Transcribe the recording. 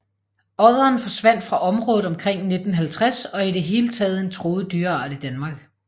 Odderen forsvandt fra området omkring 1950 og er i det hele taget en truet dyreart i Danmark